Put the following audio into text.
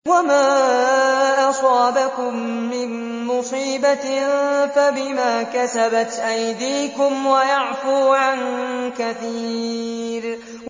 وَمَا أَصَابَكُم مِّن مُّصِيبَةٍ فَبِمَا كَسَبَتْ أَيْدِيكُمْ وَيَعْفُو عَن كَثِيرٍ